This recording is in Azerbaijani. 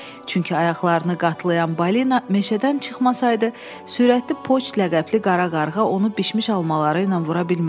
Çünki ayaqlarını qatlayan balina meşədən çıxmasaydı, sürətli poçt ləqəbli Qara Qarğa onu bişmiş almaları ilə vura bilməzdi.